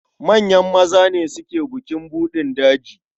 Manyan maza ne suke yin bukin buɗin daji.